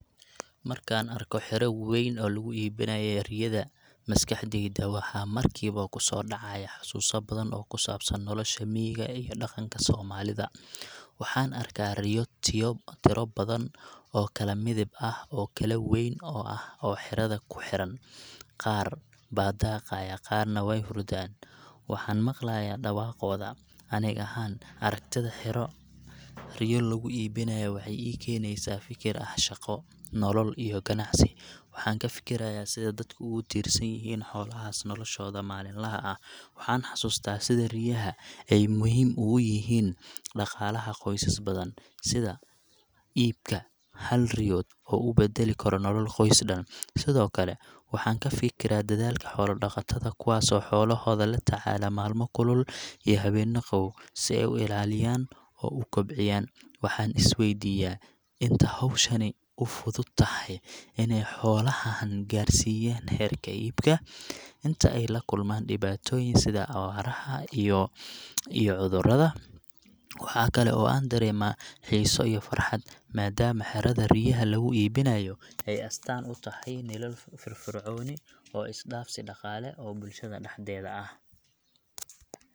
Markaan arko xero wayn oo lagu iibinayo riyada, maskaxdayda waxa markiiba ku soo dhacaya xasuuso badan oo ku saabsan nolosha miyiga iyo dhaqanka soomaalida. Waxaan arkaa riyo tiro badan oo kala midab iyo kala weyn ah oo xerada ku xiran, qaar baa daaqaya, qaarna way hurdaan. Waxaan maqlayaa dhawaaqooda . Aniga ahaan, aragtida xero riyo lagu iibinayo waxay ii keenaysaa fikir ah shaqo, nolol, iyo ganacsi. Waxaan ka fikirayaa sida dadku ugu tiirsan yihiin xoolahaas noloshooda maalinlaha ah. Waxaan xasuustaa sida riyaha ay muhim ygu yihiin dhaqaalaha qoysas badan, sida iibka hal riyood uu u beddeli karo nolol qoys dhan. Sidoo kale, waxaan ka fikiraa dadaalka xoolo-dhaqatada, kuwaasoo xoolahooda la tacaala maalmo kulul iyo habeenno qabow si ay u ilaaliyaan oo u kobciyaan. Waxaan is weydiiyaa: inta hawshani u fudud tahay inay xoolahan gaarsiiyaan heerka iibka? Inta ay la kulmaan dhibaatooyin sida abaaraha iyo cudurrada? Waxa kale oo aan dareemaa xiiso iyo farxad, maadaama xerada riyaha lagu iibinayo ay astaan u tahay nolol firfircooni oo is dhaafsi dhaqaale oo bulshada dhexdeeda ah.